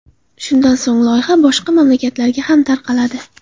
Shundan so‘ng loyiha boshqa mamlakatlarga ham tarqaladi.